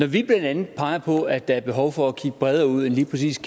vi blandt andet peger på at der er behov for at kigge bredere ud end lige præcis